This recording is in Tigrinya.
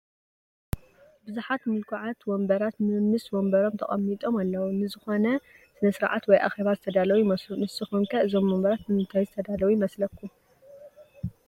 ብዙሓት ምልኩዓት ወንበራት መምስ ወንበሮም ተቐሚጦም ኣለው፡፡ ንዝኾነ ስነ ስርዓት ወይ ኣኼባ ዝተዳለው ይመስሉ፡፡ ንስኹም ከ እዞም ወንበራት ንምንታይ ዝተዳለው ይመስለኩም?